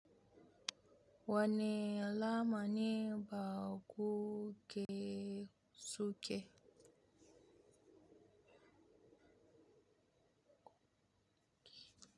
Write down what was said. Wane alama ne baƙo ke suke?